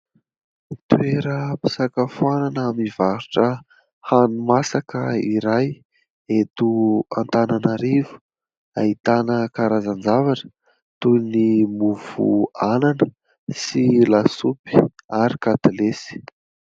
Toeram-pisakafoanana mivarotra hani-masaka iray eto Antananarivo. Ahitana karazan-javatra toy ny : mofo anana, sy lasopy ary katilesy.